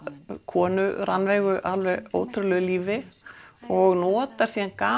konu Rannveigu alveg ótrúlegu lífi og notar síðan